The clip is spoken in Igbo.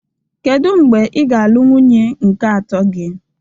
Kedu mgbe ị ga-alụ nwunye nke atọ gị?